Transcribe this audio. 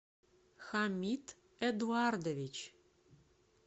хамид эдуардович